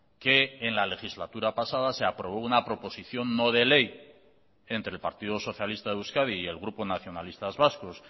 que en la legislatura pasada se aprobó una proposición no de ley entre el partido socialista de euskadi y el grupo nacionalistas vascos